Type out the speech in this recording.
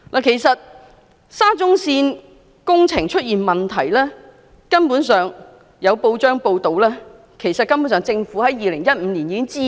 其實沙中線工程出現的問題，有報章報道指政府根本在2015年已知悉。